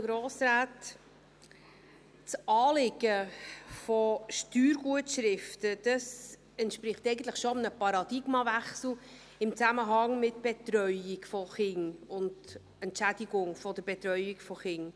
Das Anliegen von Steuergutschriften entspricht eigentlich schon einem Paradigmenwechsel in Zusammenhang mit der Betreuung von Kindern und der Entschädigung der Betreuung von Kindern.